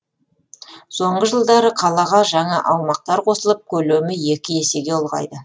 соңғы жылдары қалаға жаңа аумақтар қосылып көлемі екі есеге ұлғайды